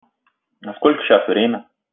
а сколько сейчас время